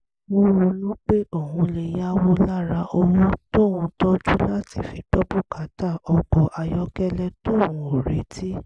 ó ronú pé òun lè yáwó lára owó tóun tọ́jú láti fi gbọ́ bùkátà ọkọ̀ ayọ́kẹ́lẹ́ tóun ò retí